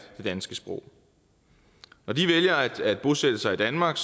det danske sprog når de vælger at bosætte sig i danmark